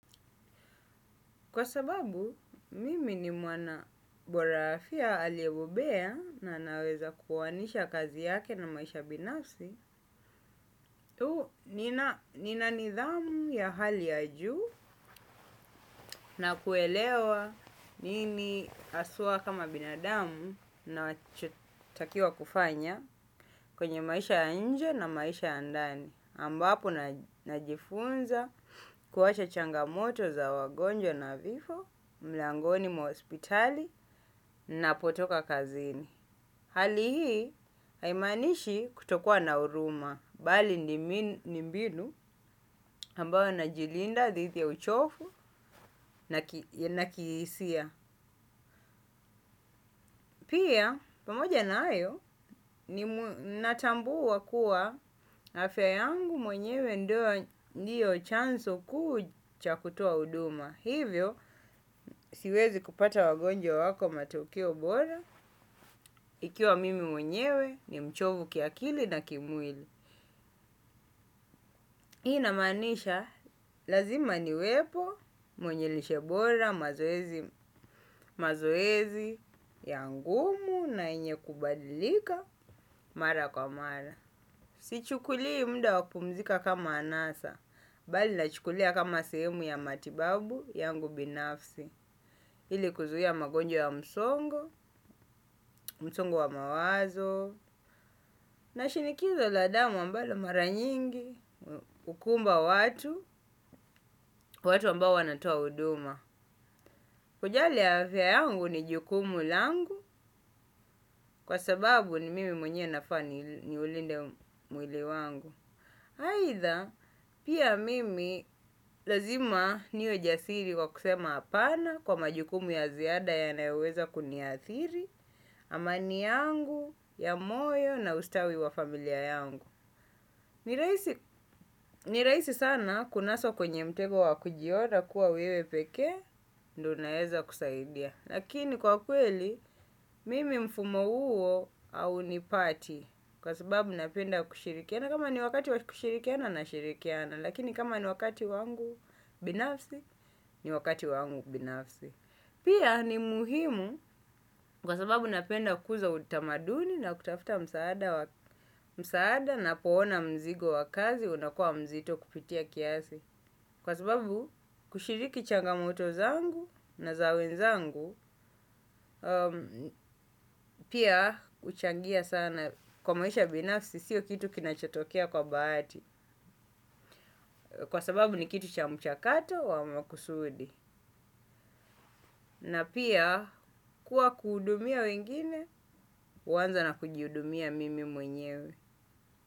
Kwa sababu, mimi ni mwanabora afya aliebobea na anaweza kuwaanisha kazi yake na maisha binafsi. Tu nina nidhamu ya hali ya juu na kuelewa nini aswaa kama binadamu nachotakiwa kufanya kwenye maisha ya nje na maisha ya ndani. Ambapo najifunza kuacha changamoto za wagonjwa na vifo mlangoni mwa hospitali ninapotoka kazini. Hali hii haimanishi kutokua na uruma. Bali ni mbinu ambayo najilinda, dhithi ya uchofu na kiisia. Pia, pamoja na ayo, natambua kua afya yangu mwenyewe ndio chanso kuu cha kutoa uduma. Hivyo, siwezi kupata wagonjwa wako matokeo bora, ikiwa mimi mwenyewe ni mchovu kiakili na kimwili. Ii inamaanisha, lazima niwepo mwenye lishe bora mazoezi ya ngumu na enye kubadilika mara kwa mara. Sichukulii mda wa kumzika kama anasa, bali nachukulia kama sehemu ya matibabu yangu binafsi. Ili kuzuia magonjwa ya msongo msongo wa mawazo na shinikizo la damu ambalo mara nyingi hukumba watu watu ambao wanatoa uduma. Kujali ya afya yangu ni jukumu langu, kwa sababu ni mimi mwenyewe nafaa ni niulinde mwili wangu. Aitha, pia mimi lazima niwe jasiri kwa kusema apana kwa majukumu ya ziada yanayoweza kuniathiri, amani yangu, ya moyo na ustawi wa familia yangu. Ni raisi sana kunaswa kwenye mtego wa kujiona kuwa wewe pekee, ndo unaeza kusaidia. Lakini kwa kweli, mimi mfumo uo aunipati kwa sababu napenda kushirikiana. Na kama ni wakati kushirikiana nashirikiana, lakini kama ni wakati wangu binafsi, ni wakati wangu binafsi. Pia ni muhimu kwa sababu napenda kuza utamaduni na kutafuta msaada napoona mzigo wa kazi, unakua mzito kupitia kiasi. Kwa sababu kushiriki changamoto zangu na za wenzangu pia uchangia sana kwa maisha ya binafsi, sio kitu kinachotokea kwa bahati. Kwa sababu ni kitu cha mchakato wa makusudi. Na pia kuwa kuudumia wengine, huanza na kujiudumia mimi mwenyewe.